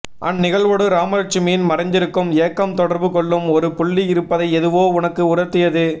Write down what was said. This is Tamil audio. அந்நிகழ்வோடு ராமலட்சுமியின் மறைந்திருக்கும் ஏக்கம் தொடர்பு கொள்ளும் ஒரு புள்ளி இருப்பதை எதுவோ எனக்கு உணர்த்தியது